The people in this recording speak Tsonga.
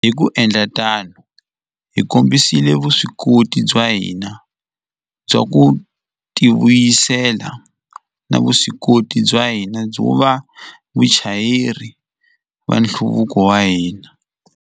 Hi ku endla tano, hi kombisile vuswikoti bya hina bya ku tivuyisela na vuswikoti bya hina byo va vachayeri va nhluvuko wa hina.